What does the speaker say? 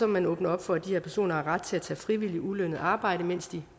man åbne op for at de her personer har ret til at tage frivilligt ulønnet arbejde mens de